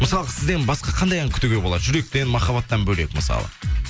мысалға сізден басқа қандай ән күтуге болады жүректен махаббаттан бөлек мысалы